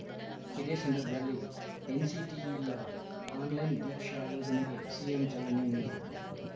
ಇದೇ ಸಂದರ್ಭದಲ್ಲಿ ಎನ್‌ಸಿಟಿಇಯ ಆನ್‌ಲೈನ್‌ ದೀಕ್ಷಾ ಯೋಜನೆಗೆ ಸಿಎಂ ಚಾಲನೆ ನೀಡಿದರು